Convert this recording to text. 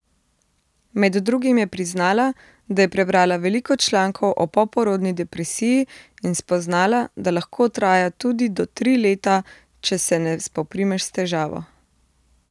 Med drugim je priznala, da je prebrala veliko člankov o poporodni depresiji in spoznala, da lahko traja tudi do tri leta, če se ne spoprimeš s težavo.